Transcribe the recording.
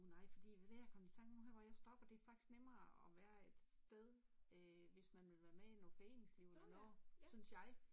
Nej fordi ved du hvad det er jeg kom i tanke om nu her hvor jeg stopper, det faktisk nemmere og være et sted øh hvis man vil være med i noget foreningsliv eller noget, synes jeg